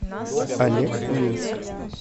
олекминск